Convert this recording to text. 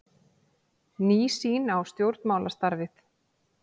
Ný sýn á stjórnmálastarfið